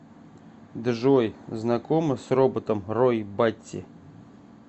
джой знакома с роботом рой батти